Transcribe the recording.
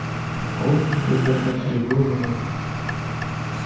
школу могут закрыть в любую минуту